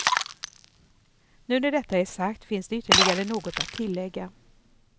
Nu när detta är sagt finns det ytterligare något att tillägga.